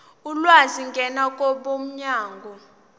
ulwazi ngena kwabomnyango